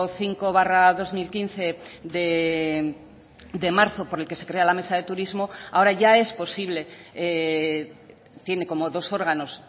cinco barra dos mil quince de marzo por el que se crea la mesa de turismo ahora ya es posible tiene como dos órganos